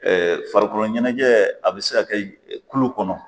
farikolo ɲɛnajɛ a bɛ se ka kɛ kulu kɔnɔ.